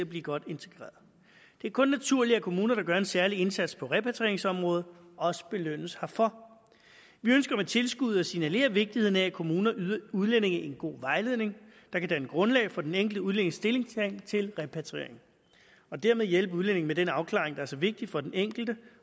blive godt integreret det er kun naturligt at kommuner der gør en særlig indsats på repatrieringsområdet også belønnes herfor vi ønsker med tilskuddet at signalere vigtigheden af at kommuner yder udlændinge en god vejledning der kan danne grundlag for den enkelte udlændings stillingtagen til repatriering og dermed hjælpe udlændingen med den afklaring der er så vigtig for den enkelte